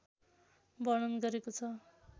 वर्णन गरेको छ